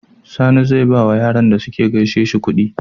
Sani zai bawa Yaran da suka gaishe shi kudi